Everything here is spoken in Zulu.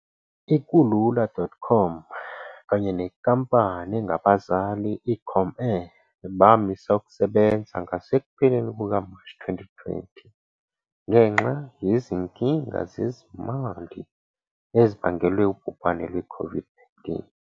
I-Kulula.com kanye nenkampani engabazali i-Comair bamisa ukusebenza ngasekupheleni kuka-March 2020 ngenxa yezinkinga zezimali ezibangelwe ubhubhane lwe-COVID-19.